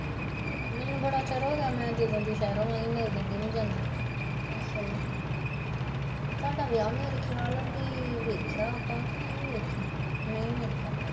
ਮੈਨੂੰ ਬੜਾ ਚਿਰ ਹੋਗਿਆ ਮੈਂ ਜਦੋਂ ਦੀ ਸਹਿਰੋਂ ਆਈ ਉਦੋਂ ਦੀ ਨੀ ਜਾਂਦੀ ਤੁਹਾਡਾ ਵਿਆਹ ਮੇਰੇ ਖਿਆਲ ਵੀ ਵੇਖਿਆ ਆਪਾਂ ਕਿ ਨਹੀਂ ਵੇਖਿਆ, ਨਹੀਂ ਮੇਰੇ ਖਿਆਲ ਨਾਲ਼